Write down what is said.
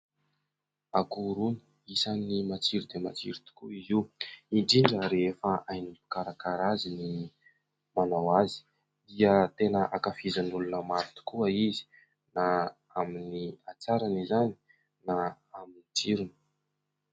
Akoho rony : isan'ny matsiro dia matsiro tokoa izy io indrindra rehefa hainao ny mikarakara azy, ny manao azy dia tena ankafizin'olona maro tokoa izy na amin'ny hatsarany izany na amin'ny tsirony.